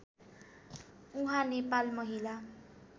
उहाँ नेपाल महिला